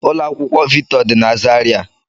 Ụlọ akwụkwọ Victor dị na Zaria